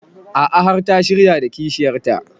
A'a har ta shirya da kishiyar ta